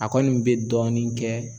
A kɔni be dɔɔnin kɛ